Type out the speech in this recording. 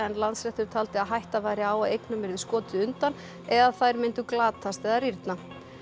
Landsréttur taldi að hætta væri á að eignum yrði skotið undan eða þær myndu glatast eða rýrna